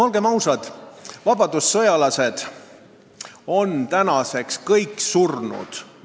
Olgem ausad, vabadussõjalased on tänaseks kõik surnud.